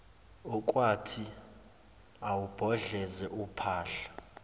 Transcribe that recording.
okwakuthi awubhodloze uphahla